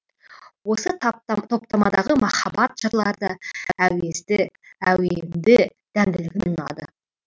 осы тапта топтамадағы махаббат жырлары да әуезді әуенді дәмділігімен ұнады